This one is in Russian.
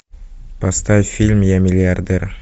поставь фильм я миллиардер